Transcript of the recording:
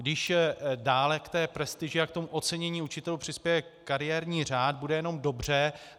Když dále k té prestiži a k tomu ocenění učitelů přispěje kariérní řád, bude jenom dobře.